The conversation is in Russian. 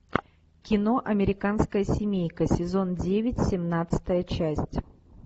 кино американская семейка сезон девять семнадцатая часть